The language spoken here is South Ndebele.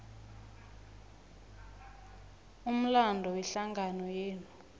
umlando wehlangano yenu